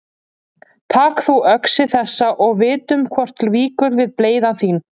Tak þú öxi þessa og vitum hvort víkur við bleyða þín.